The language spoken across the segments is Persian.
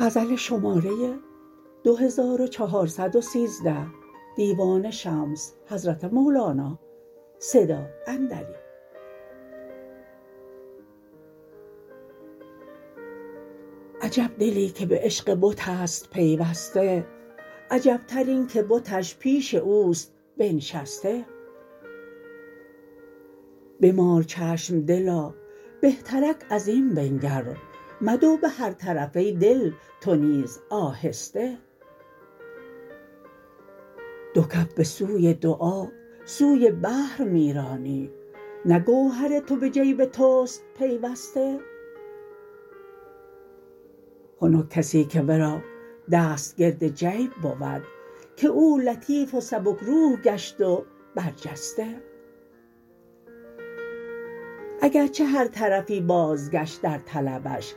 عجب دلی که به عشق بت است پیوسته عجبتر این که بتش پیش او است بنشسته بمال چشم دلا بهترک از این بنگر مدو به هر طرف ای دل تو نیز آهسته دو کف به سوی دعا سوی بحر می رانی نه گوهر تو به جیب تو است پیوسته خنک کسی که ورا دست گرد جیب بود که او لطیف و سبک روح گشت و برجسته اگر چه هر طرفی بازگشت در طلبش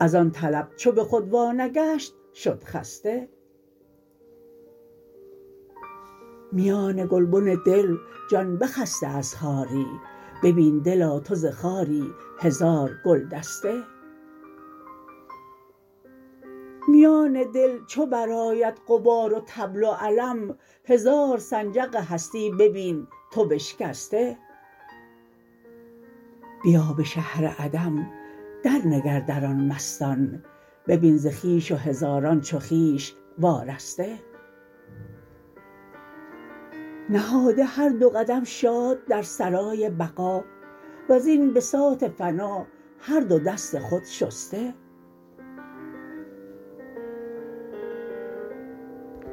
از آن طلب چو به خود وانگشت شد خسته میان گلبن دل جان بخسته از خاری ببین دلا تو ز خاری هزار گلدسته میان دل چو برآید غبار و طبل و علم هزار سنجق هستی ببین تو بشکسته بیا به شهر عدم درنگر در آن مستان ببین ز خویش و هزاران چو خویش وارسته نهاده هر دو قدم شاد در سرای بقا و زین بساط فنا هر دو دست خود شسته